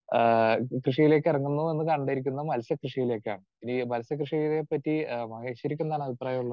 Speaker 2 ആഹ് കൃഷിയിലേക്ക് ഇറങ്ങുന്നു എന്ന് കണ്ടിരിക്കുന്നത് മത്സ്യകൃഷിയിലേക്കാണ്. ഈ മത്സ്യകൃഷിയെപ്പറ്റി മഹേശ്വരിക്ക് എന്താണ് അഭിപ്രായം?